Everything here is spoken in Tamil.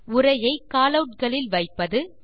உரையை காலவுட்ஸ் களில் வைப்பது